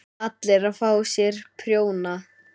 ALLIR AÐ FÁ SÉR PRJÓNA!